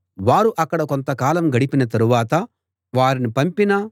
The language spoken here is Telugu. వారు అక్కడ కొంతకాలం గడిపిన తరువాత వారిని పంపిన